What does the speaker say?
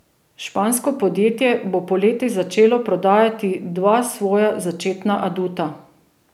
Špansko podjetje bo poleti začelo prodajati dva svoja začetna aduta.